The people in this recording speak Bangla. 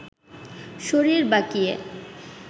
শরীর বাঁকিয়ে